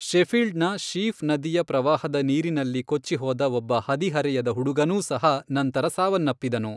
ಶೆಫೀಲ್ಡ್ನ Sheaf ನದಿಯ ಪ್ರವಾಹದ ನೀರಿನಲ್ಲಿ ಕೊಚ್ಚಿಹೋದ ಒಬ್ಬ ಹದಿಹರೆಯದ ಹುಡುಗನೂ ಸಹ ನಂತರ ಸಾವನ್ನಪ್ಪಿದನು.